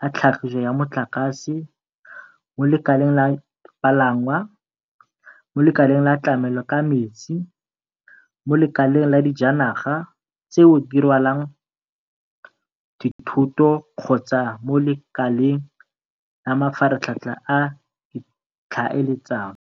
la tlhagiso ya motlakase, mo lekaleng la palangwa, mo lekaleng la tlamelo ka metsi, mo lekaleng la dijanaga tseo di rwalang dithoto kgotsa mo lekaleng la mafaratlhatlha a ditlhaeletsano.